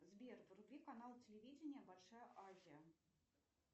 сбер вруби канал телевидения большая азия